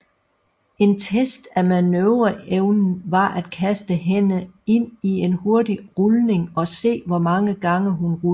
En test af manøvreevnen var at kaste hende ind i en hurtig rulning og se hvor mange gange hun rullede